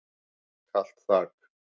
Kalt þak.